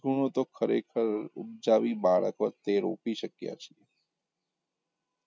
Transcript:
સૂણો તો ખરેખર ઉપજાવી બાળકો તે રોપી શક્યાં છે